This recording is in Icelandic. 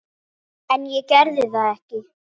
En ég gerði það ekki.